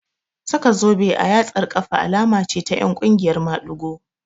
Saka zobe a yatsar ƙafa alama ce ta ƴan ƙungiyar maɗigo